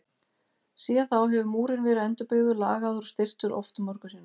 Síðan þá hefur múrinn verið endurbyggður, lagaður og styrktur oft og mörgum sinnum.